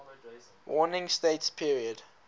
warring states period